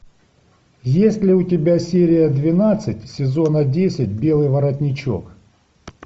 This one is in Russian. есть ли у тебя серия двенадцать сезона десять белый воротничок